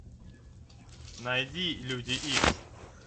найди люди икс